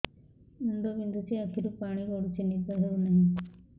ମୁଣ୍ଡ ବିନ୍ଧୁଛି ଆଖିରୁ ପାଣି ଗଡୁଛି ନିଦ ହେଉନାହିଁ